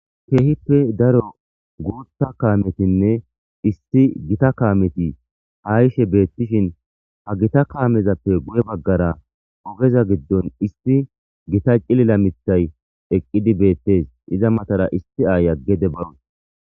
keehippe daro guutha kaametinne isti gita kaameti ha ishe beettishin ha gita kaamezappe guye baggara ogeza giddon isti gita cilila mithay eqqidi beettes iza matara isti aayaggede bawun